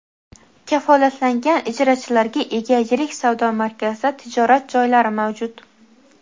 Kafolatlangan ijarachilarga ega yirik savdo markazida tijorat joylari mavjud.